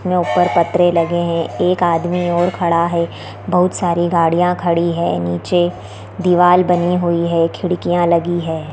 यहाँ ऊपर पत्रे लगे हुए है एक आदमी और खड़ा है बहुत सारे गाड़ियां खड़ी हैं नीचे दीवार बनी हुई है खिड़कियाँ लगी हैं।